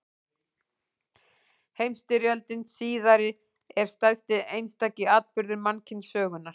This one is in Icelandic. Heimsstyrjöldin síðari er stærsti einstaki atburður mannkynssögunnar.